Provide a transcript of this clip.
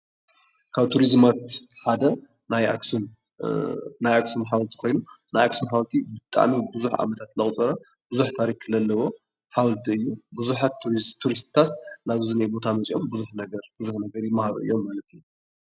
ካብ ቱሪዝማት ሓደ ናይ ኣክሱም ሓወልቲ ኮይኑ ኣክሱም ሓወልቲ ብጣዕሚ ብዙሕ ዓመታት ዘቁፀረ ብዙሕ ታሪክ ለለዎ ሓወልቲ እዩ። ብዙሓት ቱሪስትታት ናዚ እኒኣ ቦታ መፅኦም ብዙሕ ነገር ይመሃሩ እዮም ማለት እዩ።